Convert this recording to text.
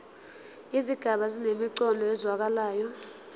izigaba zinemiqondo ezwakalayo